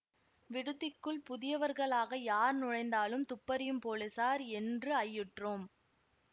விடுதிக்குள் புதியவர்களாக யார் நுழைந்தாலும் துப்பறியும் போலீசார் என்று ஐயுற்றோம்